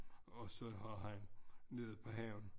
Og så har han nede på havnen